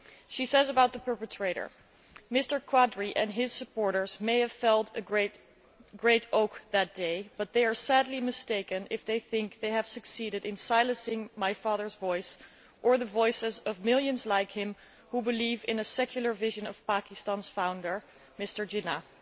She says of the perpetrator Mr Qadri and his supporters may have felled a great oak that day, but they are sadly mistaken if they think they have succeeded in silencing my father's voice or the voices of millions like him who believe in the secular vision of Pakistan's founder, Mohammed Ali Jinnah'.